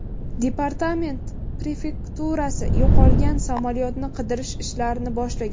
Departament prefekturasi yo‘qolgan samolyotni qidirish ishlarini boshlagan.